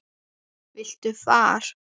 Viltu far?